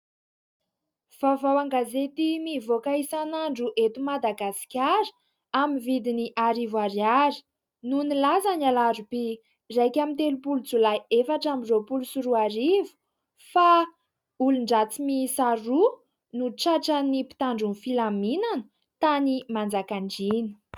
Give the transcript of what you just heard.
Vaovao an-gazety mivoaka isan'andro eto Madagasikara amin'ny vidiny arivo ariary, no nilaza ny Alarobia iraika amby telopolo Jolay efatra amby roapolo sy roa arivo fa : "olon-dratsy mihisa roa no tratran'ny mpitandron'ny filaminana tany Manjakandriana.".